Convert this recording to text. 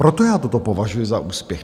Proto já toto považuji za úspěch.